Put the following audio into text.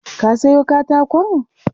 Ka sayo katakon?